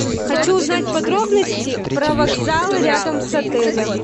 хочу узнать подробности про вокзалы рядом с отелем